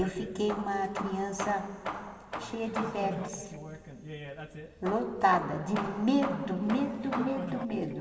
Eu fiquei uma criança cheia de vermes, lotada de medo, medo, medo, medo.